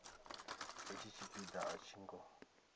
hetshi tshipia a tshi ngo